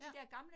Ja